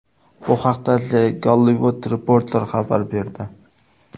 Bu haqda The Hollywood Reporter xabar berdi .